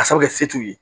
Ka sɔrɔ kɛ se t'u ye